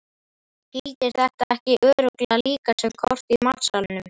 Gildir þetta ekki örugglega líka sem kort í matsalnum?